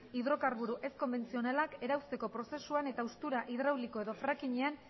hidrokarburo ezkonbentzionalak erauzteko prozesuan eta haustura hidrauliko edo frackingean